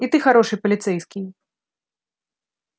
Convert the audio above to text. и ты хороший полицейский